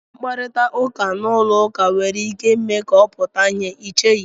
Mkparịta ụka n'ụlọ ụka nwere ike ime ka ọ pụta ìhè, ị cheghị?"